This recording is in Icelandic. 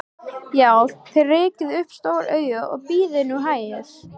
Já, þér rekið upp stór augu, en bíðið nú hægur.